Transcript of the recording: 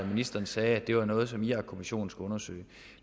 ministeren sagde at det var noget som irakkommissionen skulle undersøge